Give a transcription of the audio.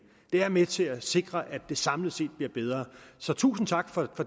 det er med til at sikre at det samlet set bliver bedre så tusind tak for